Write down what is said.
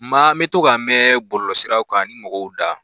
Maa n bɛ to k' a mɛn bɔlɔlɔsiraw kan mɔgɔw da